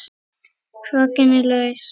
Kraginn er laus.